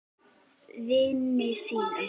Vini sínum.